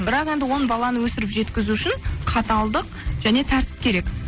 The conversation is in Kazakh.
бірақ енді он баланы өсіріп жеткізу үшін қаталдық және тәртіп керек